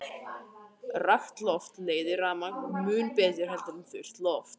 Rakt loft leiðir rafmagn mun betur en þurrt loft.